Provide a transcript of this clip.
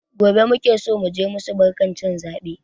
Gobe muke so muje musu barkan cin zaɓe